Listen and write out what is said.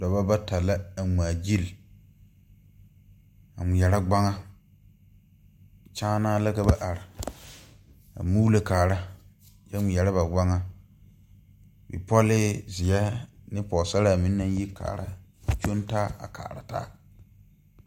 Dɔbɔ bata la a ngmaagyile a ngmeɛrɛ gbaŋa kyaanaa la ka ba are a muulo kaara kyɛ ngmeɛrɛ ba gbaŋa bipɔlee zeɛ ne pɔɔsaraa meŋ naŋ kaaraa a kyɔŋ taa a kaara taa.